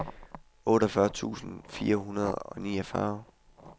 otteogfyrre tusind fire hundrede og niogfyrre